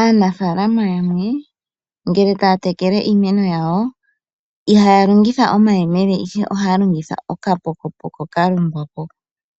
Aanafaalama yamwe ngele taya tekele iimeno yawo, ihaya longitha omayemele ihe ohaya longitha okapokopoko ka longwa